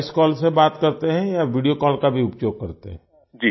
आप voice call से बात करते हैं या वीडियो कॉल का भी उपयोग करते हैं